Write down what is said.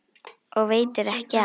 Og ekki veitir af.